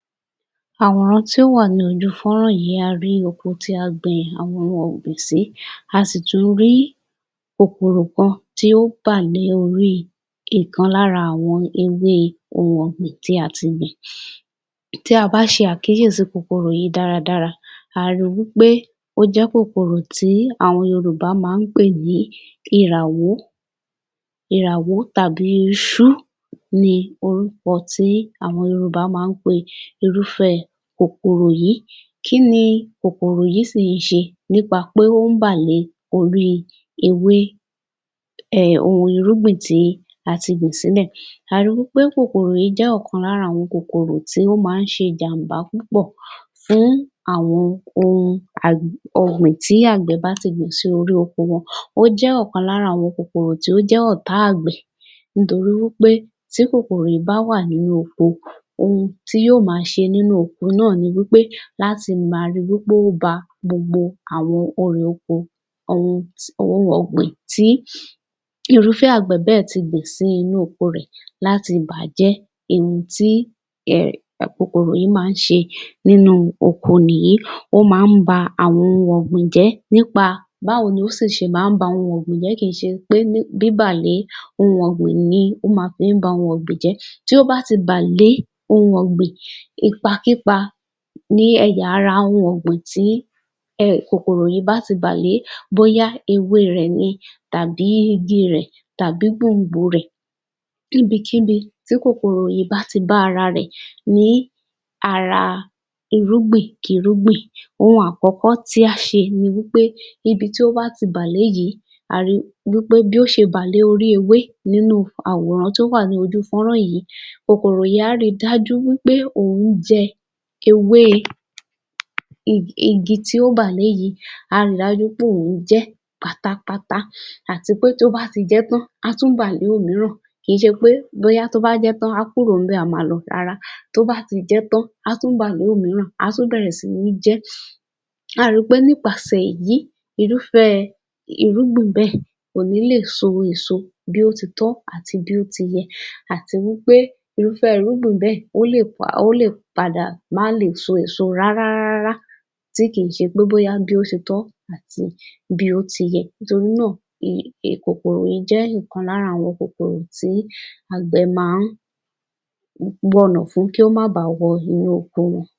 Àwòrán tí ó wà ní ojú fọ́nrán yìí, a rí oko tí a gbin àwọn ohun ọ̀gbìn sí. A sì tún rí kòkòrò kan tí ó bà lé ìkan lára àwọn ewé ohun ọ̀gbìn tí a ti gbìn. Tí a bá ṣe àkíyèsí kòkòrò yìí dára dára, à á rí wí pé ó jẹ́ kòkòrò tí àwọn Yorùbá máa ń pè ní Ìràwó. Ìràwó tàbí Ìṣú ni àwọn orúkọ tí àwọn Yorùbá máa ń pe irúfẹ́ kòkòrò yìí. Kí ni kòkòrò yìí sì ń ṣe nípa pé ó ń bà lé orí ewé um ohun irúgbìn tí a ti gbìn sílẹ̀? A rí wí pé kòkòrò yìí jẹ́ ọ̀kan lára àwọn kòkòrò tí ó máa ń ṣe jàǹbá púpọ̀ fún àwọn òhun ọ̀gbìn tí àgbẹ̀ bá ti gbìn sí orí oko wọn. Ó jẹ́ ọ̀kan lára àwọn kòkòrò tí ó jẹ́ ọ̀tá àgbẹ̀ nítorí wí pé tí kòkòrò yìí bá wà nínú oko, ohun tí yóò máa ṣe nínú oko náà ni wí pé láti máa rí wí pé ó ba gbogbo àwọn erè oko, àwọn ohun ọ̀gbìn tí irúfẹ́ àgbẹ̀ bẹ́ẹ̀ ti gbìn sí inú oko rẹ̀ láti bà á jẹ́; èyí tí kòkòrò yìí máa ń ṣe nínú oko nìyí. Ó máa ń ba àwọn ohun ọ̀gbìn jẹ́ nípa báwo ni ó sì ṣe máa ń ba àwọn ohun ọ̀gbìn jẹ́? Kì í ṣe pé ní bíbà lé ohun ọ̀gbìn ní ó ma fí ń ba ohun ọ̀gbìn jẹ́. Tí ó bá ti bà lé ohun ọ̀gbìn, ipakípa ní ẹ̀ya ara ohun ọ̀gbìn tí um kòkòrò yìí bá tì bà lé, bóyá ewé rẹ̀ ni, tàbí igi rẹ̀, tàbí gbòǹgbò rẹ̀, ní ibikíbi tí kòkòrò yìí bá ti bá ara rẹ̀ ní ará irúgbìn-kí-irúgbìn, ohun àkọ́kọ́ tí á ṣe ni wí pé, níbi tí ó bá ti bà lé yìí, a rí wí pé bí ó ṣe bà lé orí ewé nínú àwòrán tí ó wà ní ojú fọ́nrán yìí, kókóró yìí á rí dájú wí pé ohun jẹ́ ewé igi tí ó bà lé yìí, á ri dájú pé òun jẹ́ pátápátá. Àti pé tí ó bá ti jẹ́ tán, á tún bà lé òmíràn. Kì í ṣe pé bóyá tó bá jẹ́ tán á kúrò níbẹ̀ á máa lọ, rárá. Tó bá ti jẹ́ tán, a tún bà lé òmíràn, á tún bẹ̀rẹ̀ sí ní jẹ ẹ́. Á ri pé nípasẹ̀ yìí, irúfẹ́ irúgbìn bẹ́ẹ̀ kò ní lè so èso bí ó ti tọ́ àti bí ó ti yẹ. Àti wí pé irúfẹ́ irúgbìn bẹ́ẹ̀ ó lè pa ó lè padà máa lè so èso rárá rárá rárá tí kì í ṣe pé bóyá bí ó ṣe tọ́ àti bí ó ti yẹ. Nítorí náà, kòkòrò yìí jé ìkan lára àwọn kòkòrò tí àgbẹ̀ máa ń wọ̀nà fún kí ó máa bà wọ inú oko.